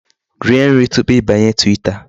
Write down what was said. Rie nri tupu ịbanye Twitter.